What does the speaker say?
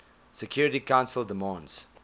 security council demands